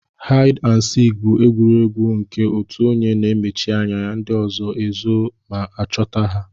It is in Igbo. Haid and sik bu egwuregwu nke otụ onye na emechi anya ndi ọzọ ezo ma ọchọta ha.